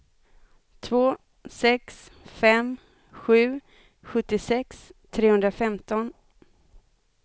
två sex fem sju sjuttiosex trehundrafemton